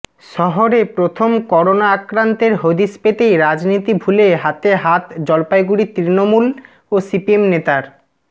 শহরে প্রথম করোনা আক্রান্তের হদিস পেতেই রাজনীতি ভুলে হাতে হাত জলপাইগুড়ির তৃণমূল ও সিপিএম নেতার